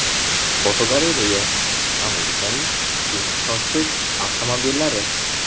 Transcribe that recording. Fotogalereya: Amerikaning eng ishonchsiz avtomobillari.